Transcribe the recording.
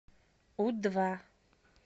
у два